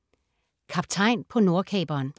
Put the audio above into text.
Kaptajn på Nordkaperen